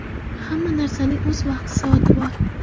Hamma narsaning o‘z vaqti-soati bor.